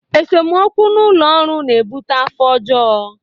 Esemokwu n'ụlọ ọrụ na ebute afọ ọjọ.